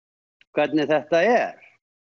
hvernig þetta er